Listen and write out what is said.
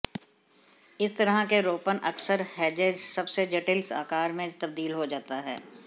इस तरह के रोपण अक्सर हेजेज सबसे जटिल आकार में तब्दील हो जाता है